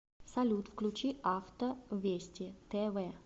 салют включи авто вести тэ вэ